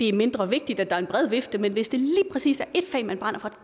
er mindre vigtigt at der er en bred vifte hvis det lige præcis er ét fag man brænder for